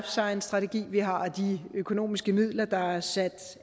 science strategi vi har og de økonomiske midler der er sat